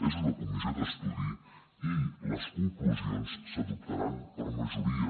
és una comissió d’estudi i les conclusions s’adoptaran per majoria